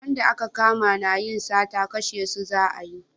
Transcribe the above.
Wanda a ka kama na yin sata kashe su za a yi